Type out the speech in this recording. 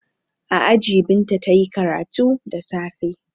A aji Binta ta yi karatu da safe.